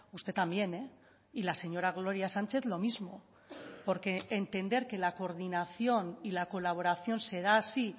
usted también y la señora gloria sánchez lo mismo porque entender que la coordinación y la colaboración se da así